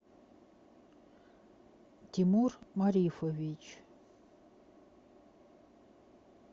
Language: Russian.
тимур марифович